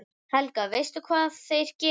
Helga: Veistu hvað þeir gera?